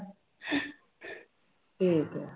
ਠੀਕ ਹੈ।